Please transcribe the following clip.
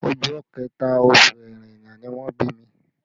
Ọjọ́ kẹta, oṣù Ẹrẹ́nà ni wọ́n bí mi